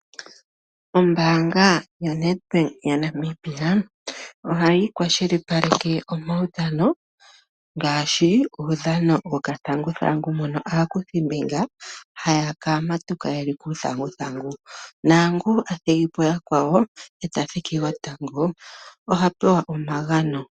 Ombaanga yaNedbank yaNamibia ohayi kwashilipaleke omaudhano ngaashi uudhano wokathanguthangu mono aakuthimbinga haya ningi ethigathano lyokuhinga uuthanguthangu. Naangoka a thigi po yakwawo e ta thiki gotango oha pewa omagano.